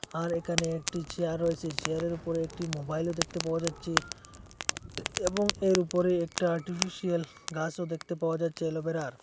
আর এখানে একটি চেয়ার রয়েসে চেয়ারের ওপর একটি মোবাইলও দেখতে পাওয়া যাচ্ছে এবং এর ওপরে একটা টি_ভি শেলফ গাসও দেখতে পাওয়া যাচ্ছে অ্যালোভেরার।